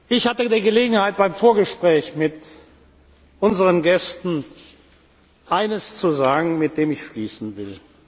Ich hatte die Gelegenheit, beim Vorgespräch mit unseren Gästen eines zu sagen, mit dem ich schließen